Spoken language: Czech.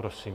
Prosím.